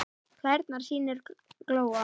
Klærnar sýnir Góa.